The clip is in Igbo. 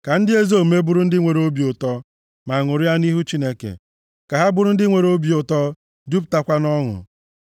Ka ndị ezi omume bụrụ ndị nwere obi ụtọ, ma ṅụrịa nʼihu Chineke; ka ha bụrụ ndị nwere obi ụtọ, jupụtakwa nʼọṅụ.